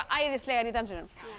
æðislegar í dansinum